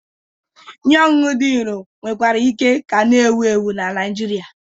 Ihe ọṅụṅụ dị nro nwekwara ike ka na-ewu ewu na Naijiria.